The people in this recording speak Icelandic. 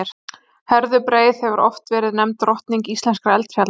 Herðubreið hefur oft verið nefnd drottning íslenskra fjalla.